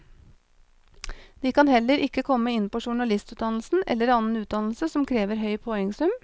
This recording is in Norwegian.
De kan heller ikke komme inn på journalistutdannelsen eller annen utdannelse som krever høy poengsum.